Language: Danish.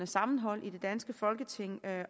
sammenhold i det danske folketing